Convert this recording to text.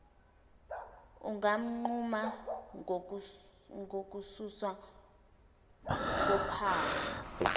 unganquma ngokususwa kophawu